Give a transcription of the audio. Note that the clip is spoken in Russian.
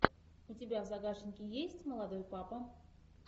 у тебя в загашнике есть молодой папа